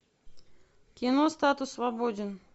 кино статус свободен